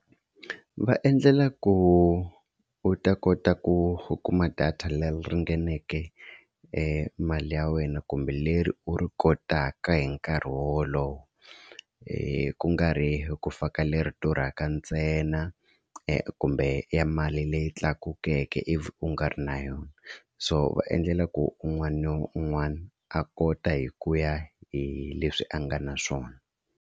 Va endlela ku u ta kota ku u kuma data leyi ringaneke e mali ya wena kumbe leri u ri kotaka hi nkarhi wolowo ku nga ri ku faka leri durhaka ntsena kumbe ya mali leyi tlakukeke ivi u nga ri na yona so va endlela ku un'wana na un'wana a kota hi ku ya hi leswi a nga na swona.